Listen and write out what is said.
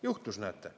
Juhtus, näete.